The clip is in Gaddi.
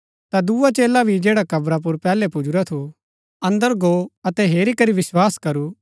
ता दुआ चेला भी जैडा कब्रा पुर पैहलै पुजुरा थू अन्दर गो अतै हेरी करी विस्वास करू